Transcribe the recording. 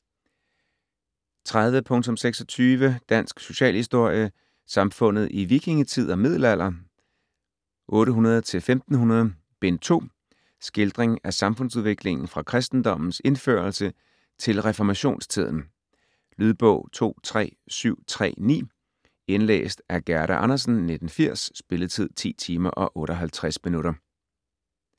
30.26 Dansk socialhistorie: Samfundet i vikingetid og middelalder 800-1500: Bind 2 Skildring af samfundsudviklingen fra kristendommens indførelse til reformationstiden. Lydbog 23739 Indlæst af Gerda Andersen, 1980. Spilletid: 10 timer, 58 minutter.